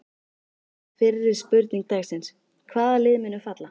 Fyrri spurning dagsins: Hvaða lið munu falla?